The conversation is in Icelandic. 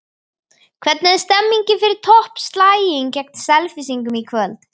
Hvernig er stemningin fyrir toppslaginn gegn Selfyssingum í kvöld?